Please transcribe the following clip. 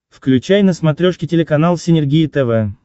включай на смотрешке телеканал синергия тв